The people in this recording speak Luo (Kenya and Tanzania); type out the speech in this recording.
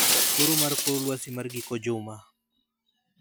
Koro mar kor lwasi mar giko juma